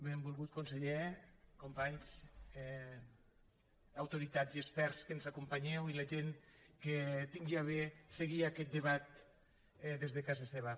benvolgut conseller companys autoritats i experts que ens acompanyeu i la gent que tingui a bé seguir aquest debat des de casa seva